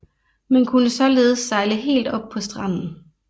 Man kunne således sejle helt op på stranden